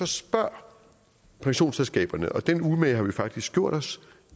spørger pensionsselskaberne den umage har vi faktisk gjort os